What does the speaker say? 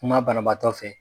Kuma banabaatɔ fɛ.